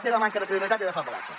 seva manca de credibilitat i de feblesa